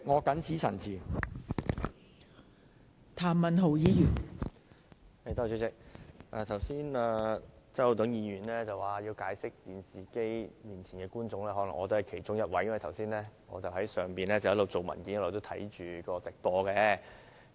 代理主席，周浩鼎議員剛才說要向電視機前的觀眾解釋，可能我也是其中一位，因為我剛才在樓上一邊處理文件，一邊觀看直播。